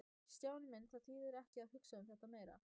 Stjáni minn, það þýðir ekki að hugsa um þetta meira.